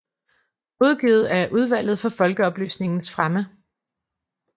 Udgivet af Udvalget for Folkeoplysningens Fremme